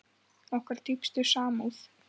Okkar dýpstu samúð.